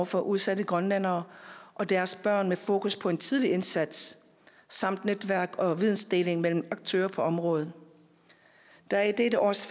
for udsatte grønlændere og deres børn med fokus på en tidlig indsats samt netværk og vidensdeling mellem aktører på området der er i dette års